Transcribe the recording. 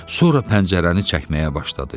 Sonra pəncərəni çəkməyə başladı.